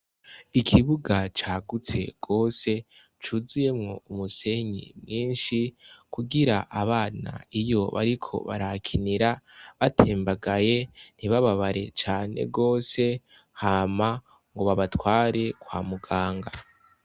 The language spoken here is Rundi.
Ikibuga cagutse gose cuzuyemwo umusenyi mwinshi kugira abana iyo bariko barahakinira batembagaye ntibababare cane gose hama ngo babatware kwa muganga.